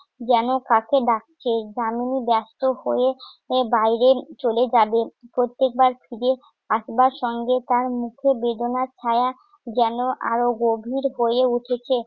যেন কাছে ডাকছে। দামিনী ব্যস্ত হয়ে বাইরে চলে যাবে। প্রত্যেকবার ফিরে আসবার সঙ্গে তার মুখে বেদনার ছায়া যেন আরো গভীর হয়ে উঠেছে